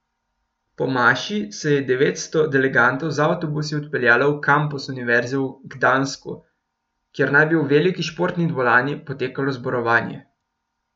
Po maši se je devetsto delegatov z avtobusi odpeljalo v kampus Univerze v Gdansku, kjer naj bi v veliki športni dvorani potekalo zborovanje.